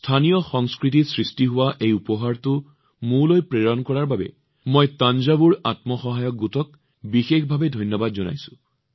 স্থানীয় সংস্কৃতিত সৃষ্টি হোৱা এই উপহাৰটো মোলৈ প্ৰেৰণ কৰাৰ বাবে মই থাঞ্জাভুৰ আত্মসহায়ক গোটক বিশেষভাৱে ধন্যবাদ জনাইছো